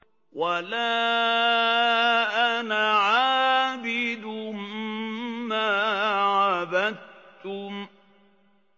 وَلَا أَنَا عَابِدٌ مَّا عَبَدتُّمْ